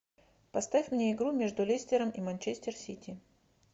поставь мне игру между лестером и манчестер сити